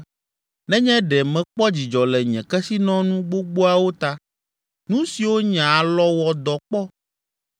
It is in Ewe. nenye ɖe mekpɔ dzidzɔ le nye kesinɔnu gbogboawo ta, nu siwo nye alɔ wɔ dɔ kpɔ,